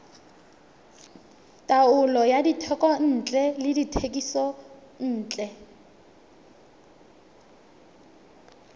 taolo ya dithekontle le dithekisontle